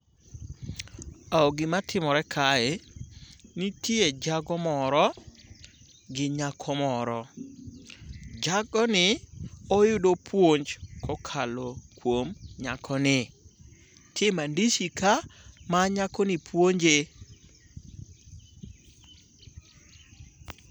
Gimatimore kae, nitie jago moro gi nyako moro. Jagoni oyudo puonj kokalo kuom nyakoni. Ntie mandishi ka ma nyakoni puonje.